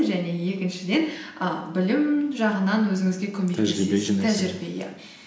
және екіншіден і білім жағынан өзіңізге тәжірибе иә